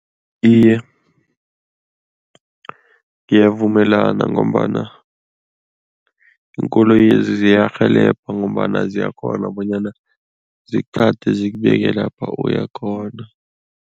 Iye, ngiyavumelana ngombana iinkoloyezi ziyarhelebha ngombana ziyakghona bonyana zikuthathe, zikubeka lapha uyakhona.